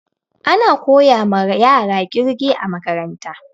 Ana koyama yara ƙirge a makaranta